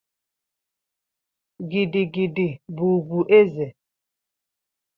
Gidi gidi bụ ugwu eze.